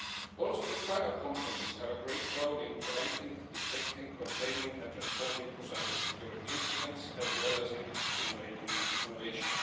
Also, private companies have a great role in preventing, detecting, containing and responding to cyber-security incidents, as well as in stimulating innovation.